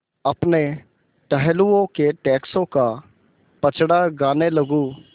अपने टहलुओं के टैक्सों का पचड़ा गाने लगूँ